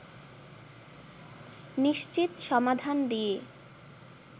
নিশ্চিত সমাধান দিয়ে